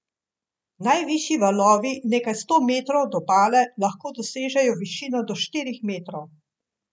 Ponudba je vključevala dve odrasli osebi in enega otroka, ter sedem nočitev z zajtrkom.